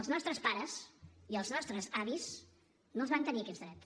els nostres pares i els nostres avis no els van tenir aquests drets